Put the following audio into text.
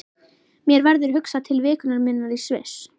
Mér verður hugsað til vikunnar minnar í Sviss.